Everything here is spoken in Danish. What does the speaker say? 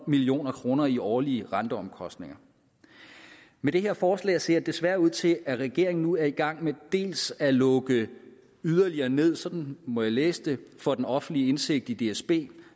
million kroner i årlige renteomkostninger med det her forslag ser det desværre ud til at regeringen nu er i gang med dels at lukke yderligere ned sådan må jeg læse det for den offentlige indsigt i dsb